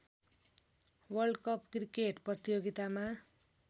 world cup cricket प्रतियोगितामा